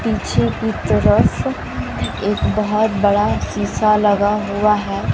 पीछे की तरफ एक बहोत बड़ा शीशा लगा हुआ है।